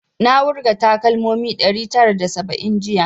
Na wurga takalmomi ɗari tara da saba'in jiya